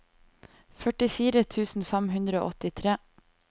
førtifire tusen fem hundre og åttitre